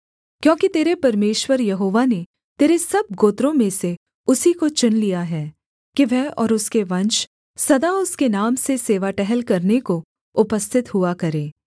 क्योंकि तेरे परमेश्वर यहोवा ने तेरे सब गोत्रों में से उसी को चुन लिया है कि वह और उसके वंश सदा उसके नाम से सेवा टहल करने को उपस्थित हुआ करें